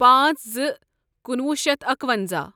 پانژھ زٕ کُنوُہ شیتھ اکونٛزاہ